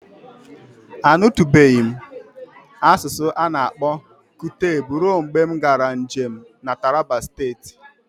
Anutubeghi m asụsụ ana-akpọ Kuteb ruo mgbe m gaara njem na Taraba Steeti.